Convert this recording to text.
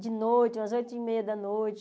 De noite, umas oito e meia da noite.